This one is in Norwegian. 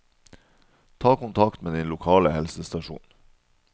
Ta kontakt med din lokale helsestasjon.